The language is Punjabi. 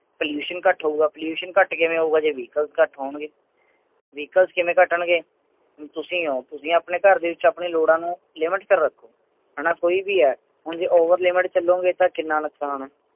pollution ਘੱਟ ਹੋਊਗਾ pollution ਕਿਵੇਂ ਘੱਟ ਹੋਉਗੇ ਜੇ vehicle ਘੱਟ ਹੋਣਗੇ vehicle ਕਿਵੇਂ ਘਟਣਗੇ, ਵੀ ਤੁਸੀਂ ਹੋ ਤੁਸੀ ਅਪਨੇ ਘਰ ਤੇ ਲੋੜਾਂ ਨੂੰ limit ਤੇ ਰੱਖੋ ਹੈਨਾ ਕੋਈ ਵੀ ਹੈ ਹੁਣ ਜੇ over limit ਚਲੋਗੇ ਤਾਂ ਕਿੰਨਾ ਨੁਕਸਾਨ ਹੈ